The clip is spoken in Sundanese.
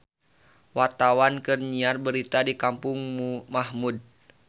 Wartawan keur nyiar berita di Kampung Mahmud